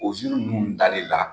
O ziirin ninnu dali la.